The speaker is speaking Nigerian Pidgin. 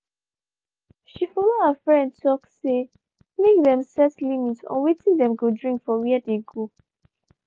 she follow her friend talk say make them set limit on watin dem go drink for where dey go